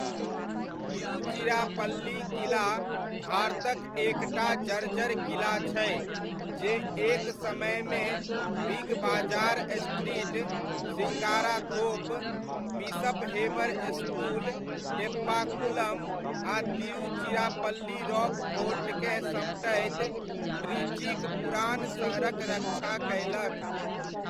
तिरुचिरापल्ली किला भारतक एक टा जर्जर किला छै जे एक समयमे big bazaar street, Singarathope, bishop Heber school, Teppakulam, आ तिरुचिरापल्ली रॉक फोर्टकेँ समटैत ट्रिचीक पुरान सहरक रक्षा कयलक।